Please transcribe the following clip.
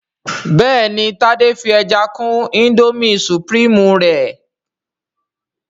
béèni Tade fí ẹja kún Indomie supreme rẹ